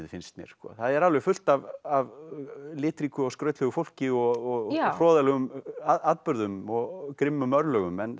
finnst mér það er fullt af litríku og skrautlegu fólki og hroðalegum atburðum og grimmum örlögum en